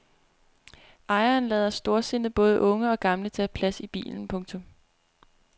Ejeren lader storsindet både unge og gamle tage plads i bilen. punktum